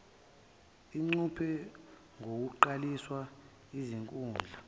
ingcuphe ngokuqalisa izinkundla